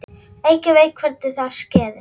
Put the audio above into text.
Enginn veit hvernig það skeði.